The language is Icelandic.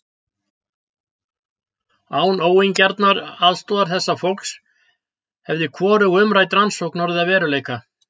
Án óeigingjarnrar aðstoðar þessa fólks hefði hvorug umrædd rannsókn orðið að veruleika.